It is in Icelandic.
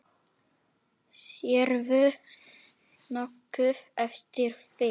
Sérðu nokkuð eftir því?